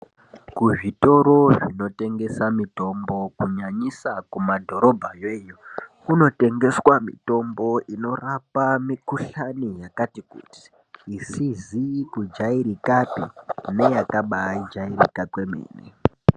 Kuzvitoro zvinotengesa mitombo kunyanyisa kumadhorobha kunotengeswa mitombo inorapa mikohlani yakasiyana siyana isizi kujairikapi neyakajairika kwemene.